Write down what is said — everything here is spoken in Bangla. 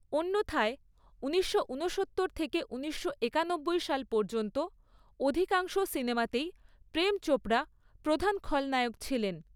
অন্যথায় ঊনিশশো উনসত্তর থেকে ঊনিশশো একানব্বই সাল পর্যন্ত অধিকাংশ সিনেমাতেই প্রেম চোপড়া প্রধান খলনায়ক ছিলেন।